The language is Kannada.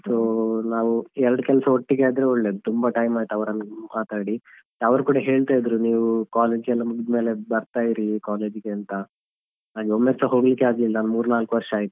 So ನಾವು ಎರಡು ಕೆಲಸ ಒಟ್ಟಿಗೆ ಆದ್ರೆ ಒಳ್ಳೇದು ತುಂಬ time ಆಯ್ತ್ ಅವರನ್ನು ಮಾತಾಡಿ ಅವರು ಕೂಡ ಹೇಳ್ತಾ ಇದ್ರು ನೀವು college ಎಲ್ಲಾ ಮುಗದ್ಮೇಲೆ ಬರ್ತಾಯಿರಿ college ಗೆ ಅಂತ ಹಾಗೆ ಒಮ್ಮೆ ಸ ಹೋಗ್ಲಿಕ್ಕೆ ಆಗ್ಲಿಲ್ಲ ಮೂರ್ರ್ನಾಲ್ಕು ವರ್ಷ ಆಯಿತು.